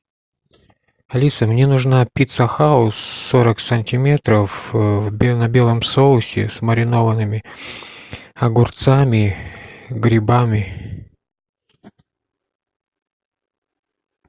алиса мне нужна пицца хаус сорок сантиметров э на белом соусе с маринованными огурцами грибами